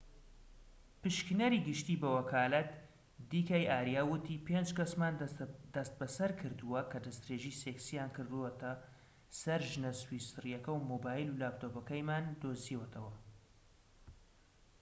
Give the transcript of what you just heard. پشکنەری گشتی بە وەکالەت دی کەی ئاریا وتی پێنج کەسمان دەستبەسەر کردووە کە دەستدرێژی سێکسیان کردۆتە سەر ژنە سویسریەکە و مۆبایل و لاپتۆپەکەیمان دۆزیوەتەوە